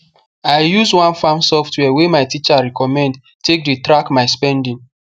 i use one farm software wey my teacher recommend take dey track my spending